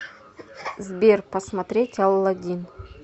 сбер посмотреть алладин